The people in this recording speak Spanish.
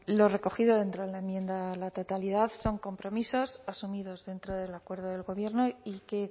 lo recogido dentro de la enmienda a la totalidad son compromisos asumidos dentro del acuerdo del gobierno y que